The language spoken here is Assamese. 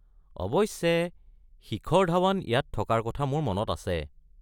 অৱশ্যে, শিখৰ ধৱন ইয়াত থকাৰ কথা মোৰ মনত আছে।